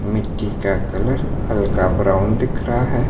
मिट्टी का कलर हल्का ब्राउन दिख रहा है।